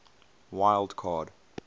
wild card